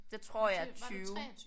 Det tror jeg er 20